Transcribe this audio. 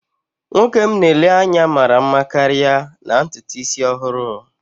Nwoke m na-ele anya mara mma karịa na ntutu isi ọhụrụ